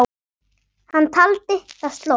Hann taldi það slór.